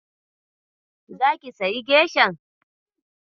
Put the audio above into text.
Zaki sayi geshan?